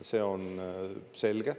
See on selge.